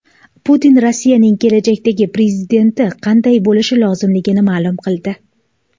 Putin Rossiyaning kelajakdagi prezidenti qanday bo‘lishi lozimligini ma’lum qildi.